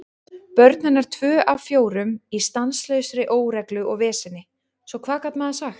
Börn hennar tvö af fjórum í stanslausri óreglu og veseni, svo hvað gat maður sagt?